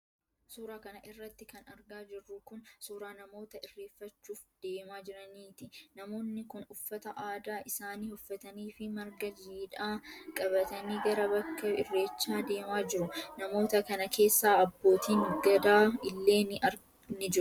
Suura kana irratti kan argaa jirru kun, suura namoota irreeffachuuf deemaa jiraniiti. Namoonni kun uffata aadaa isaanii uffatanii fi marga jiidhaa qabatanii gara bakka irreechaa deemaa jiru. Namoota kana keessa abbootiin gadaa illee ni jiru.